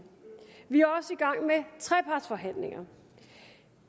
vi er også i gang med trepartsforhandlinger